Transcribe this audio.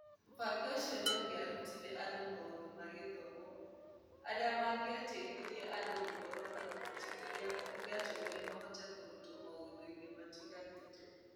Mũbango ũcio nĩ ũngĩarutire andũ maũndũ ma gĩthomo marĩa mangĩateithirie andũ gũkorũo na ũhoti ũrĩa ũngĩatũmire mahote kũrutwo maũndũ-inĩ matiganĩte.